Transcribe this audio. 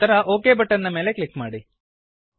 ನಂತರ okay button click ಮಾಡಿ